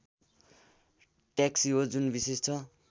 taxi हो जुन विशेष छ